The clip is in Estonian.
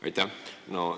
Aitäh!